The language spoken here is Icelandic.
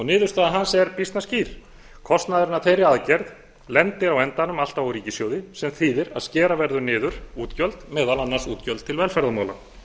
niðurstaða hans er býsna skýr kostnaðurinn af þeirri aðgerð lendir á endanum alltaf á ríkissjóði sem þýðir að skera verður niður útgjöld meðal annars útgjöld til velferðarmála